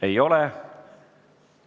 Ei ole.